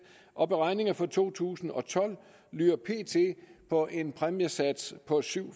og beregninger for to tusind og tolv lyder pt på en præmiesats på syv